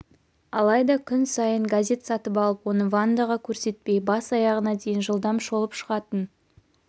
алайда күн сайын газет сатып алып оны вандаға көрсетпей бас-аяғына дейін жылдам шолып шығатын